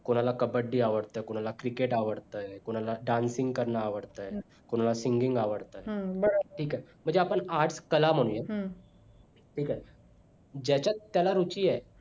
कुणाला कब्बडी अवडतं कुणाला cricket अवडतं कुणाला dancing करण अवडतं कुणाला singing अवडतंय बरोबर ठीक आहे म्हणजे आपण art कला म्हणूया ठीक आहे ज्याच्यात त्याला रुची आहे